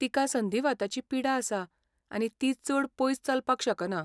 तिका संधिवाताची पिडा आसा आनी ती चड पयस चलपाक शकना.